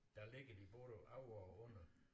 Der ligger de både over og under